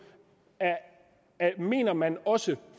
mener man også